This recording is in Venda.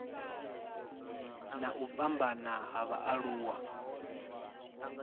na u fhambana ha vhaaluwa